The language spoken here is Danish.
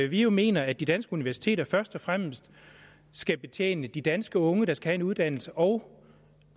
vi jo mener at de danske universiteter først og fremmest skal betjene de danske unge der skal have en uddannelse og